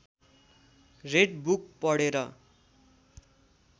red book पढेर